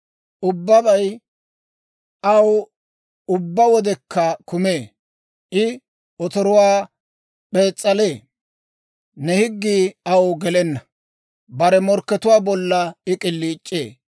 Ubbabay aw ubbaa wodekka kumee; I otoruwaa p'ees's'alee. Ne higgii aw gelenna; bare morkkatuwaa bollan I k'iliic'ee.